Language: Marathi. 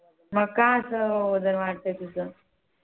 मग का असं वजन वाढतय तुझं?